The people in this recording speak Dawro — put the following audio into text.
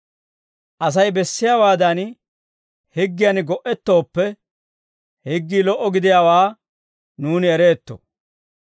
Asay bessiyaawaadan higgiyan go"ettooppe, higgii lo"a gidiyaawaa nuuni ereetto.